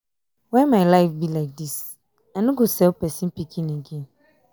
why my life be like dis. i no go sell person pikin again.